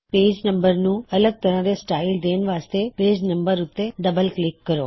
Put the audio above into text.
page number ਨੂੰ ਅੱਲਗ ਤਰ੍ਹਾ ਦੇ ਸਟਾਇਲ ਦੇਣ ਵਾਸਤੇ ਪੇਜ ਨੰਬਰ ਉੱਤੇ ਡਬਲ ਕਲਿੱਕ ਕਰੋ